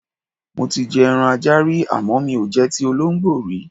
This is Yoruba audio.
Mo ti je̩ eran ajá rí àmó̩ mi ò je̩ ti olóǹgbó rí.